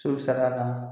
So sar'a la